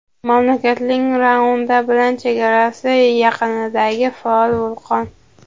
mamlakatning Ruanda bilan chegarasi yaqinidagi faol vulqon.